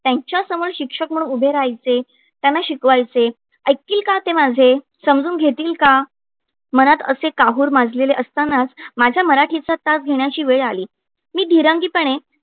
त्यांच्यासमोर शिक्षक म्हणून उभे राहायचे, त्यांना शिकवायचे, ऐकतील का ते माझे, समजून घेतील का? मनात असे काहूर माजलेले असतानाच माझ्या मराठीचा तास घेण्याची वेळ आली. मी धीरंगीपणे